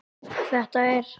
Þetta er.